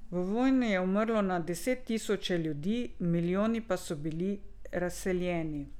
V vojni je umrlo na deset tisoče ljudi, milijoni pa so bili razseljeni.